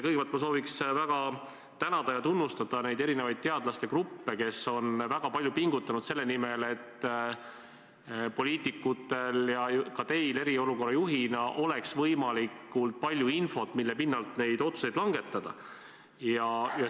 Kõigepealt ma soovin väga tänada ja tunnustada neid erinevaid teadlaste gruppe, kes on väga palju pingutanud selle nimel, et poliitikutel ja ka teil eriolukorra juhina oleks võimalikult palju infot, mille pinnalt otsuseid langetada.